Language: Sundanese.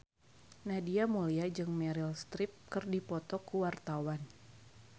Nadia Mulya jeung Meryl Streep keur dipoto ku wartawan